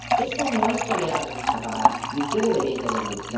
Eso no es tolerable en esta Cámara, y usted debería intervenir.